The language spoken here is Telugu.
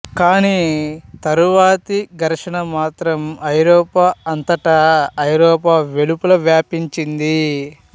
కాని తరువాతి ఘర్షణ మాత్రం ఐరోపా అంతటా ఐరోపా వెలుపలా వ్యాపించింది